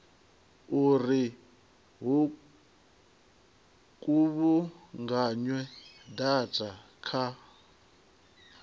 uri hu kuvhunganywe data kha